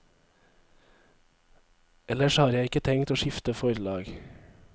Ellers har jeg ikke tenkt å skifte forlag.